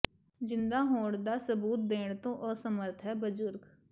ਜ਼ਿੰਦਾ ਹੋਣ ਦਾ ਸਬੂਤ ਦੇਣ ਤੋਂ ਅਸਮਰੱਥ ਹੈ ਬਜ਼ੁਰਗ